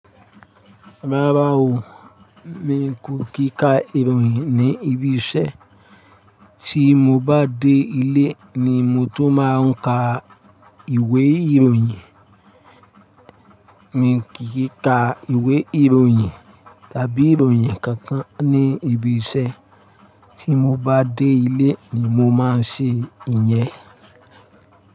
Rárá o, mi kò kì í ka ìròyìn ní ibi iṣẹ́, tí mo bá dé ilé ni mo tó máa ń ka ìwé ìròyìn. Mi kì í ka ìwé ìròyìn tàbí ìròyìn kankan ní ibi iṣẹ́, tí mo bá dé ilé ni mo máa ń ṣe ìyẹn.